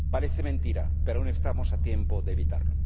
Parece mentira, pero aún estamos a tiempo de evitarlo.